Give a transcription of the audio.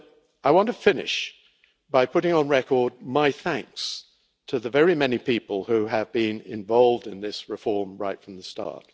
I want to finish by putting on record my thanks to the many people who have been involved in this reform right from the start.